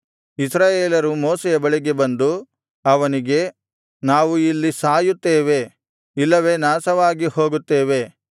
ಇಸ್ರಾಯೇಲರು ಮೋಶೆಯ ಬಳಿಗೆ ಬಂದು ಅವನಿಗೆ ನಾವು ಇಲ್ಲಿ ಸಾಯುತ್ತೇವೆ ಇಲ್ಲವೇ ನಾಶವಾಗಿ ಹೋಗುತ್ತೇವೆ